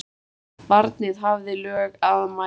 Barnið hafði lög að mæla.